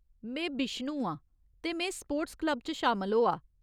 में बिश्नु आं, ते में स्पोर्ट्स क्लब च शामल होआ।